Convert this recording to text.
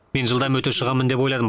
мен жылдам өте шығамын деп ойладым